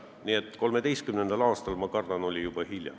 Nii et 2013. aastal, ma kardan, oli juba hilja.